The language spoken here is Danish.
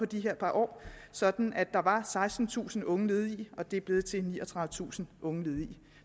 de her par år sådan at der var sekstentusind unge ledige og det nu er blevet til niogtredivetusind unge ledige